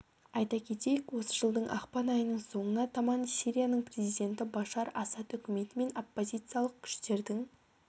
айта кетейік осы жылдың ақпан айының соңына таман сирияның президенті башар асад үкіметі мен оппозициялық күштердің